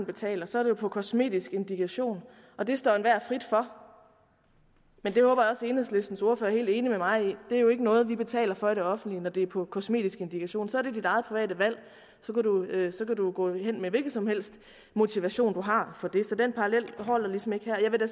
betaler så er det på kosmetisk indikation og det står enhver frit for men det håber jeg også at enhedslistens ordfører er helt enig med mig i det er jo ikke noget vi betaler for i det offentlige når det er på kosmetisk indikation så er det dit eget private valg og så kan du gå hen med hvilken som helst motivation du har for det så den parallel holder ligesom ikke her jeg vil da